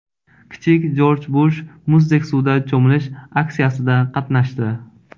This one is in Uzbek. Kichik Jorj Bush muzdek suvda cho‘milish aksiyasida qatnashdi.